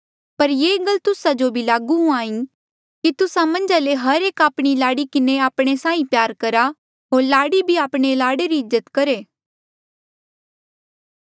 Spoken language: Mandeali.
पर ये गल तुस्सा जो भी लागू हुईं कि तुस्सा मन्झा ले हर एक आपणी लाड़ी किन्हें आपणे साहीं प्यार करहा होर लाड़ी भी आपणे लाड़े री इज्जत करहे